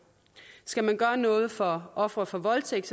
skal man gøre noget for ofre for voldtægt